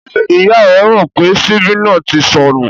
Ṣé ìyá rẹ mọ̀ pé ṣíbí náà ti sọnú?